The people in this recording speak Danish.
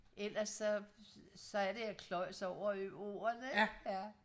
ellers så så er det jeg kløjes over ordene ikke ja